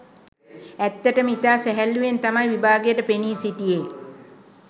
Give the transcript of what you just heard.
ඇත්තටම ඉතා සැහැල්ලුවෙන් තමයි විභාගයට පෙනී සිටියේ.